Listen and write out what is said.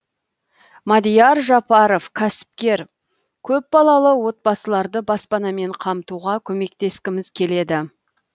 мадияр жапаров кәсіпкер көпбалалы отбасыларды баспанамен қамтуға көмектескіміз келеді